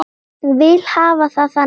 Vil hafa það þannig enn.